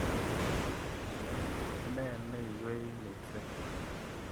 Ne neiwei missing'?